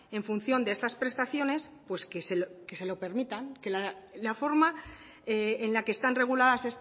en función de estas prestaciones pues que se lo permitan en la forma en la que están reguladas